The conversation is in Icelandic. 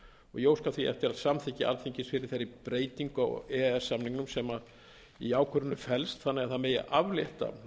ég óska því eftir að samþykki alþingis fyrir þeirri breytingu á e e s samningnum sem í ákvörðuninni felst þannig að það megi aflétta